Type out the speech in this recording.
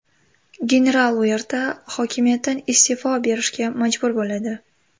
General Uerta hokimiyatdan iste’fo berishga majbur bo‘ladi.